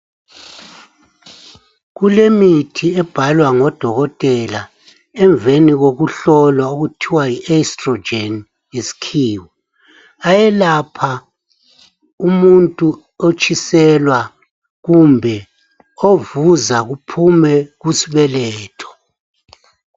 Kulemithi ebhalwa ngodokotela emveni kokuhlolwa okuthiwa yi"Estrogen"ngesikhiwa. Ayelapha umuntu otshiselwa kumbe ovuza kuphume kusibeletho.